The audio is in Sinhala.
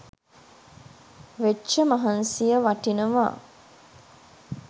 වෙච්ච මහන්සිය වටිනවා